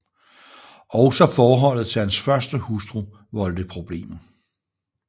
Også forholdet til hans første hustru voldte problemer